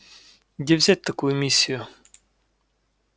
где взять такую миссию